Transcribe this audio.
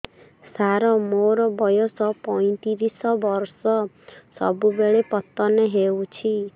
ସାର ମୋର ବୟସ ପୈତିରିଶ ବର୍ଷ ସବୁବେଳେ ପତନ ହେଉଛି